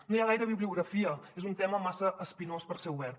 no hi ha gaire bibliografia és un tema massa espinós per ser obert